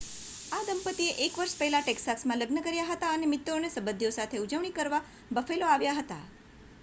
આ દંપતીએ 1 વર્ષ પહેલા ટેક્સાસમાં લગ્ન કર્યા હતા અને મિત્રો અને સંબંધીઓ સાથે ઉજવણી કરવા બફેલો આવ્યા હતા